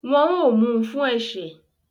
Wọ́n ó mu fún ẹ̀ṣẹ̀